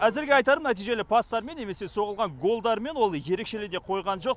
әзірге айтарым нәтижелі пастарымен немесе соғылған голдарымен ол ерекшелене қойған жоқ